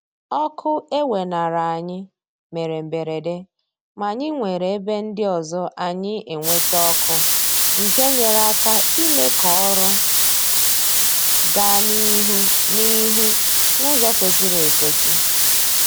Ọkụ e weenara anyị mere mberede ma anyị nwere ebe ndị ọzọ anyị enweta ọkụ nke nyere aka ime k'ọrụ gaa n'ihu n'ihu n'ụzọ kwesịrị ekwesị